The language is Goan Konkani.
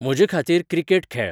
म्हजेे खातीर क्रिकेट खेळ